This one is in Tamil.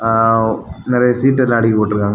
ஆ நெறைய சீட்டு எல்லா அடிக்கி போட்டுருக்காங்க.